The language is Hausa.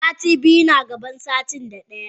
Sitin da biyu na gaban sitin da daya.